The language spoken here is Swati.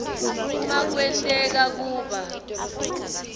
uma kwenteka kuba